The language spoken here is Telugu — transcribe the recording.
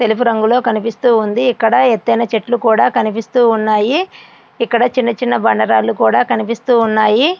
తెలుపు రంగులో కనిపిస్తూ ఉంది. ఇక్కడ ఎత్తైన చెట్లు కనిపిస్తూ ఉన్నాయి. ఇక్కడ చిన్న చిన్న బండరాలు కూడా కనిపిస్తున్నాయి.